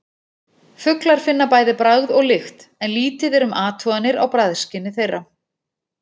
Fuglar finna bæði bragð og lykt en lítið er um athuganir á bragðskyni þeirra.